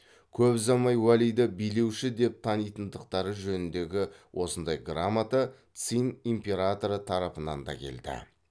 көп ұзамай уәлиді билеуші деп танитындықтары жөніндегі осындай грамота цин императоры тарапынан да келді